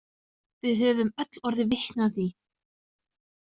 Við höfum öll orðið vitni að því.